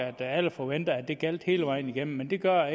at alle forventede at det ville gælde hele vejen igennem men det gør